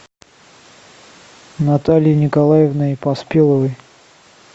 натальей николаевной поспеловой